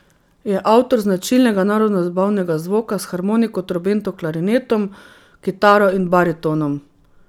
Je avtor značilnega narodnozabavnega zvoka s harmoniko, trobento, klarinetom, kitaro in baritonom.